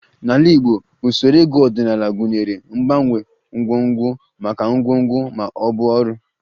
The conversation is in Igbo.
N'ala Igbo, usoro ego ọdịnala gụnyere mgbanwe ngwongwo maka ngwongwo ma ọ bụ ọrụ